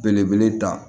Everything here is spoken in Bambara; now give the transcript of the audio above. Belebele da